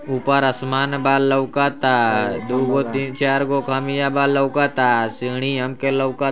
ऊपर आसमान बा लोकाता दो गो तीन चार गो कमीया बा लोकाता। सीढ़ी हम के लोकात --